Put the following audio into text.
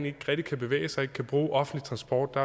ikke rigtig kan bevæge sig og ikke kan bruge offentlig transport og